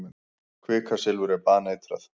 Kvikasilfur er baneitrað.